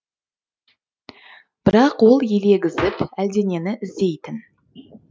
бірақ ол елегізіп әлденені іздейтін